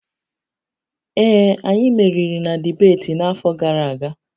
Ee, anyị meriri na dibeeti n'afọ gara aga